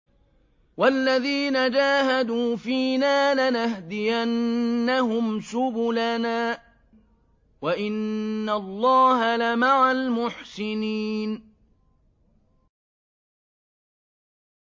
وَالَّذِينَ جَاهَدُوا فِينَا لَنَهْدِيَنَّهُمْ سُبُلَنَا ۚ وَإِنَّ اللَّهَ لَمَعَ الْمُحْسِنِينَ